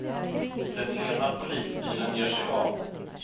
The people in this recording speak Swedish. Den ena polisbilen ger sig av.